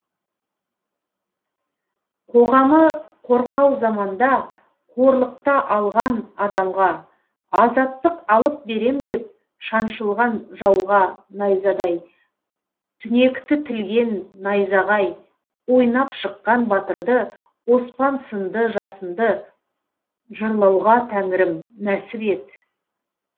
қоғамы қорқау заманда қорлықта алған адамға азаттық алып берем деп шаншылған жауға найзадай түнекті тілген найзағай ойнап шыққан батырды оспан сынды жасынды жырлауға тәңірім нәсіп ет